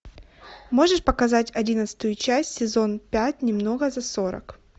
можешь показать одиннадцатую часть сезон пять немного за сорок